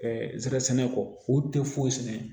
zɛrɛn sɛnɛ kɔ u tɛ foyi sɛnɛ